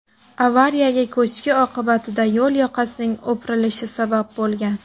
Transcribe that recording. Avariyaga ko‘chki oqibatida yo‘l yoqasining o‘pirilishi sabab bo‘lgan.